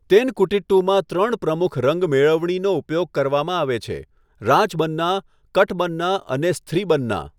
તેનકુટિટ્ટુમાં ત્રણ પ્રમુખ રંગ મેળવણીનો ઉપયોગ કરવામાં આવે છેઃ રાજબન્ના, કટબન્ના અને સ્થ્રીબન્ના.